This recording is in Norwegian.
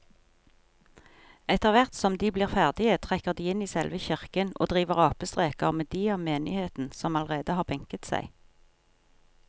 Etterthvert som de blir ferdige trekker de inn i selve kirken og driver apestreker med de av menigheten som allerede har benket seg.